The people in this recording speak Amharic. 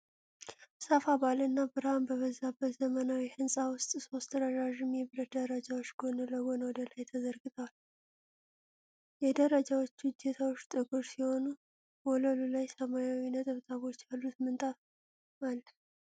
ሰፋ ባለና ብርሃን በበዛበት ዘመናዊ ሕንፃ ውስጥ ሦስት ረዣዥም የብረት ደረጃዎች ጎን ለጎን ወደ ላይ ተዘርግተዋል። የደረጃዎቹ እጀታዎች ጥቁር ሲሆኑ ወለሉ ላይ ሰማያዊ ነጠብጣቦች ያሉት ምንጣፍ አለ።